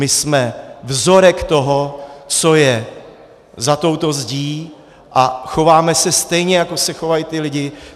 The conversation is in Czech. My jsme vzorek toho, co je za touto zdí, a chováme se stejně, jako se chovají ty lidi.